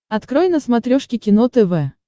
открой на смотрешке кино тв